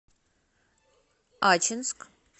ачинск